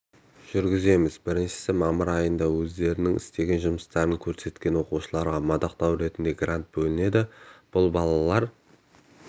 жүргіземіз біріншісі мамыр айында өздерінің істеген жұмыстарын көрсеткен оқушыларға мадақтау ретінде грант бөлінеді бұл балалар